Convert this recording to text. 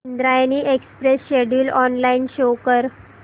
Indrayani express schedule online show कर